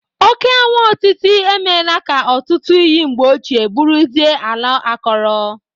Oke añwụ otiti emela ka ọtụtụ iyi mgbe ochie bụrụzie ala akọrọ